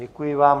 Děkuji vám.